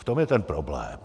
V tom je ten problém.